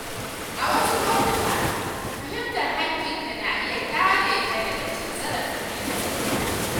A wasu lokuta, fahimtar haƙƙinka na iya kare ka daga cin zarafin ‘yan sanda.